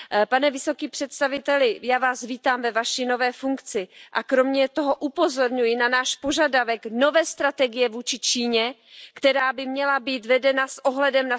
Pane vysoký představiteli, já Vás vítám ve Vaší nové funkci a kromě toho upozorňuji na náš požadavek nové strategie vůči Číně, která by měla být vedena s ohledem na skutečný pokrok v oblasti lidských práv.